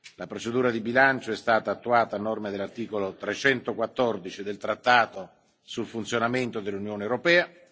La procedura di bilancio è stata attuata a norma dell'articolo 314 del trattato sul funzionamento dell'Unione europea.